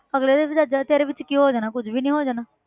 ਅਗਲੇ ਦੇ ਵੀ ਤੇਰੇ ਵਿੱਚ ਕੀ ਹੋ ਜਾਣਾ ਕੁੱਝ ਵੀ ਨੀ ਹੋ ਜਾਣਾ।